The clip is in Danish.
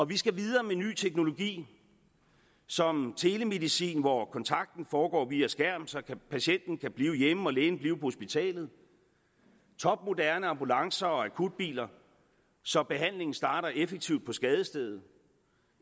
vi skal videre med ny teknologi som telemedicin hvor kontakten foregår via skærm så patienten kan blive hjemme og lægen blive hospitalet topmoderne ambulancer og akutbiler så behandlingen starter effektivt på skadestedet